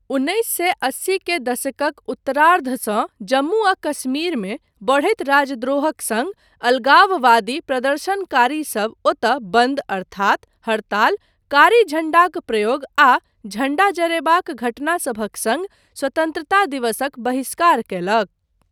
उन्नैस सए अस्सी के दशकक उत्तरार्धसँ जम्मू आ कश्मीरमे बढ़ैत राजद्रोहक सङ्ग अलगाववादी प्रदर्शनकारीसब ओतय बन्द अर्थात हड़ताल, कारी झण्डाक प्रयोग आ झण्डा जरयबाक घटना सभक सङ्ग स्वतन्त्रता दिवसक बहिष्कार कयलक।